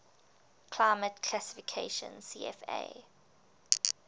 climate classification cfa